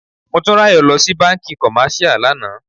Motúnráyò lọ sí bánkì commercial lànà.